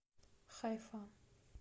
хайфа